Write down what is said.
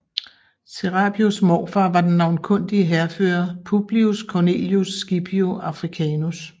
Serapios morfar var den navnkundige hærfører Publius Cornelius Scipio Africanus